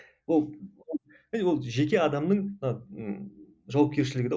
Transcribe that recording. ол жеке адамның ы жауапкершілігі де ол